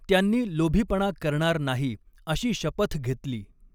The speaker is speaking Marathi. त्यांनी लोभीपणा करणार नाही अशी शपथ घेतली.